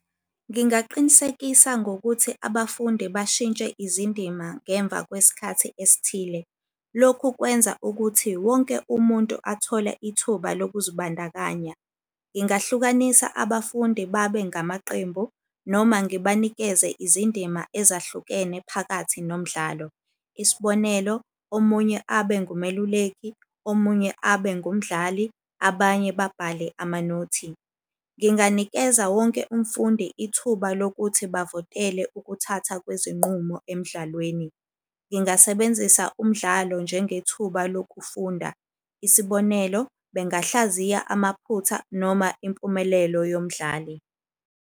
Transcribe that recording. Ngingaqinisekisa ngokuthi abafundi bashintshe izindima ngemva kwesikhathi esithile. Lokhu kwenza ukuthi wonke umuntu athole ithuba lokuzibandakanya. Ngingahlukanisa abafundi babe ngamaqembu noma ngibanikeze izindima ezahlukene phakathi nomdlalo. Isibonelo omunye abe ngumeluleki, omunye abe ngumdlali, abanye babhale amanothi. Nginganikeza wonke umfundi ithuba lokuthi bavotele ukuthatha kwezinqumo emdlalweni. Ngingasebenzisa umdlalo njengethuba lokufunda. Isibonelo, bengahlaziya amaphutha noma impumelelo yomdlali.